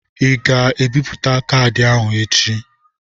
Ị ga-ebipụta kaadị ahụ echi.?